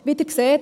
Wie Sie sehen: